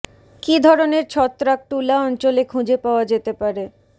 কি ধরনের ছত্রাক টুলা অঞ্চল খুঁজে পাওয়া যেতে পারে